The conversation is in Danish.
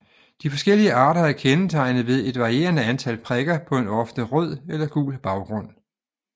De forskellige arter er kendetegnet ved et varierende antal prikker på en ofte rød eller gul baggrund